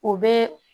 O bɛ